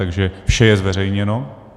Takže vše je zveřejněno.